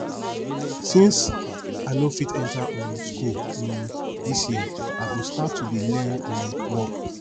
since i no fit enter um school um dis year i go start to dey learn um work